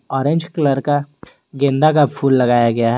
Orange colour का गेंदा का फूल लगाया गया है।